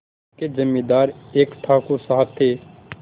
उनके जमींदार एक ठाकुर साहब थे